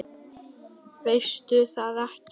Veistu það ekki?